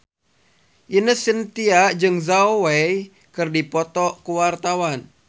Ine Shintya jeung Zhao Wei keur dipoto ku wartawan